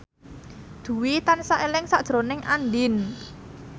Dwi tansah eling sakjroning Andien